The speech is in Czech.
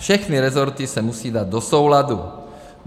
Všechny rezorty se musí dát do souladu.